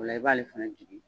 Ola i b'ale fɛnɛ jigin